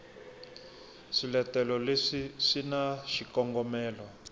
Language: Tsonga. swiletelo leswi swi na xikongomelo